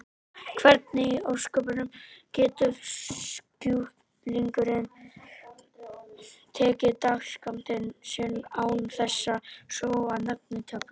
Hvernig í ósköpunum getur sjúklingurinn tekið dagsskammtinn sinn án þess að sóa neinni töflu?